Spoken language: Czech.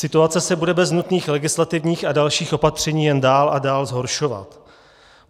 Situace se bude bez nutných legislativních a dalších opatření jen dál a dál zhoršovat.